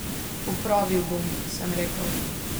Popravil bom, sem rekel.